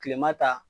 Kilema ta